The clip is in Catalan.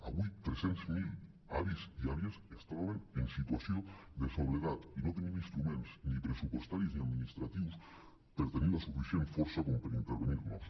avui tres cents miler avis i àvies es troben en situació de soledat i no tenim instruments ni pressupostaris ni administratius per tenir la suficient força com per intervenir·nos